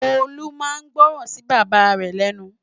Olu má n gbòrán si Baba rè lènú